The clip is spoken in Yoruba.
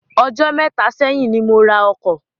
Ọjọ́ méta ṣẹ́yìn ni mo ra ọkọ̀.